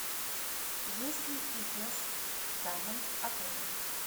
есть ли фитнес в данном отеле